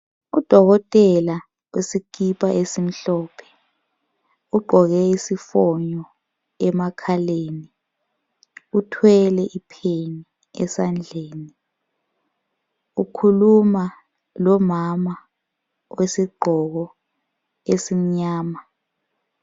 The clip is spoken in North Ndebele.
Udokotela olesikipa esimhlophe ugqoke isifonyo emakhaleni uthwele ipheni esandleni ukhuluma lomama wesigqoko esimnyama.